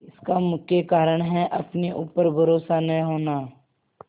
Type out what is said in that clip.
इसका मुख्य कारण है अपने ऊपर भरोसा न होना